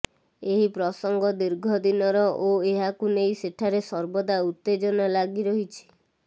ଏହି ପ୍ରସଙ୍ଗ ଦୀର୍ଘ ଦିନର ଓ ଏହାକୁ ନେଇ ସେଠାରେ ସର୍ବଦା ଉତ୍ତେଜନା ଲାଗି ରହିଛି